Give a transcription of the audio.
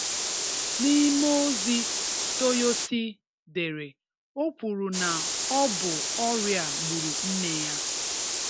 N'ime ozi toyosi dere o kwuru na ọ bụ ọrịa a gburu nne ya.